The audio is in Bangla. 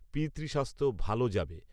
পিতৃস্বাস্থ্য ভালো যাবে